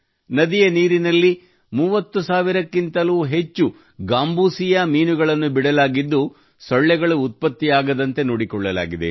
ನದಿಯ ನೀರಿನಲ್ಲಿ ಮೂವತ್ತು ಸಾವಿರಕ್ಕಿಂತಲೂ ಅಧಿಕ ಗಾಂಬೂಸಿಯಾ ಮೀನುಗಳನ್ನು ಬಿಡಲಾಗಿದ್ದು ಸೊಳ್ಳೆಗಳು ಉತ್ಪತ್ತಿಯಾಗದಂತೆ ನೋಡಿಕೊಳ್ಳಲಾಗಿದೆ